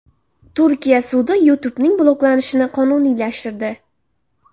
Turkiya sudi YouTube’ning bloklanishini qonuniylashtirdi.